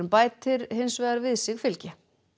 bætir hins vegar við sig fylgi